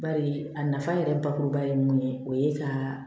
Bari a nafa yɛrɛ bakuruba ye mun ye o ye ka